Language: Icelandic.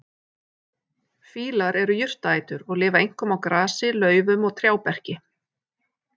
Fílar eru jurtaætur og lifa einkum á grasi, laufum og trjáberki.